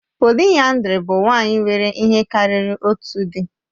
Pòliyandrì bụ nwanyị nwere ihe karịrị otu di